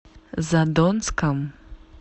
задонском